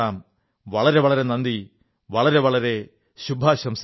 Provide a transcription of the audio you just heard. വളരെ വളരെ നന്ദി വളരെ വളരെ ശുഭാശംസകൾ